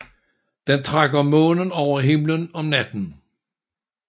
Den trækker månen over himlen om natten